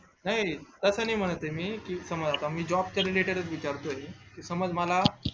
नाही तस नाही म्हणत ये मी job च्या related च विचारतोय समज मला